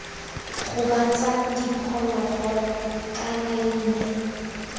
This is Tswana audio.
gobatsang diphologolo kana ii nne